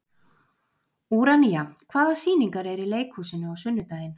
Úranía, hvaða sýningar eru í leikhúsinu á sunnudaginn?